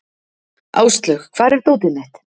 Áslaug, hvar er dótið mitt?